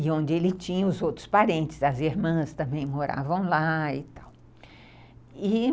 E onde ele tinha os outros parentes, as irmãs também moravam lá e tal.